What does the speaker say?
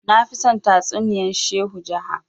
nafi son tatsuniyan shehu jaha